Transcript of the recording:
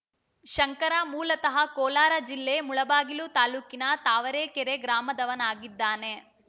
ಶಂಕರ ಮೂಲತಃ ಕೋಲಾರ ಜಿಲ್ಲೆ ಮುಳಬಾಗಿಲು ತಾಲೂಕಿನ ತಾವರೆಕೆರೆ ಗ್ರಾಮದವನಾಗಿದ್ದಾನೆ